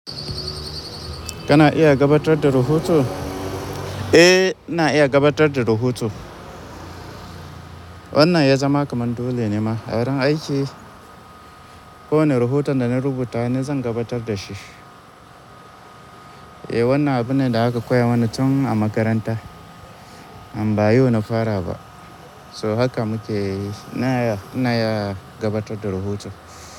Kana iya gabatar da rahoto? Eh, na iya gabatar da rahoto. Wannan ya zama kamar dole ne ma. A wurin aiki, kowane rohoto da na rubuta ni zan gabatar da shi. Eh, wannan abu ne da aka koya mana tun a makaranta, amma ba yiwu na fara ba. So haka muke yi. Na iya, na iya gabatar da rohoto.